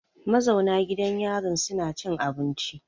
Ma zauna gidan yarin suna cin abinci.